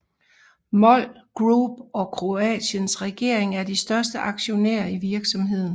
MOL Group og Kroatiens regering er de største aktionærer i virksomheden